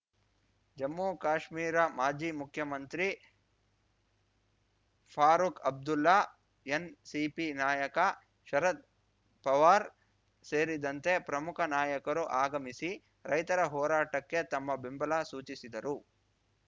ಜಮ್ಮು ಕಾಶ್ಮೀರ ಮಾಜಿ ಮುಖ್ಯಮಂತ್ರಿ ಫಾರೂಖ್‌ ಅಬ್ದುಲ್ಲಾ ಎನ್‌ಸಿಪಿ ನಾಯಕ ಶರದ್‌ ಪವಾರ್‌ ಸೇರಿದಂತೆ ಪ್ರಮುಖ ನಾಯಕರು ಆಗಮಿಸಿ ರೈತರ ಹೋರಾಟಕ್ಕೆ ತಮ್ಮ ಬೆಂಬಲ ಸೂಚಿಸಿದರು